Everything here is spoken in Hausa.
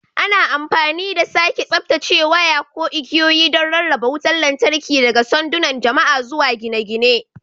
Ana amfani da sake tsaftacewa waya ko igiyoyi don rarraba wutar lantarki daga sandunan jama'a zuwa gine-gine.